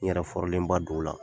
N yɛrɛ don o la.